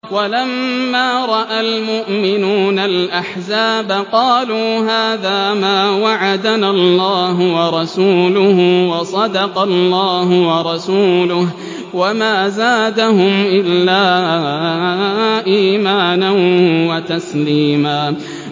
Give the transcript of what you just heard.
وَلَمَّا رَأَى الْمُؤْمِنُونَ الْأَحْزَابَ قَالُوا هَٰذَا مَا وَعَدَنَا اللَّهُ وَرَسُولُهُ وَصَدَقَ اللَّهُ وَرَسُولُهُ ۚ وَمَا زَادَهُمْ إِلَّا إِيمَانًا وَتَسْلِيمًا